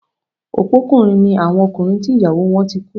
Opókùnrin ni àwọn ọkùnrin tí ìyàwó wọ́n ti kú